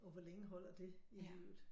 Og hvor længe holder det i livet